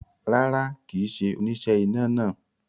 Rárá, kì í ṣe oníṣẹ́ iná náà